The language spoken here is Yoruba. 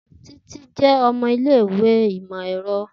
Titi jẹ ọmọ ile-iwe imọ-ẹrọ.